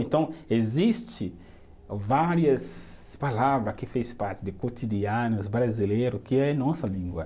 Então, existe várias palavra que faz parte de cotidiano brasileiro, que é a nossa língua.